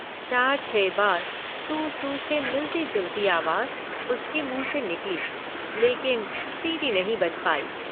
चार छह बार सू सू से मिलती जुलती आवाज़ उसके मुंह से निकली लेकिन सीटी नहीं बज पाई।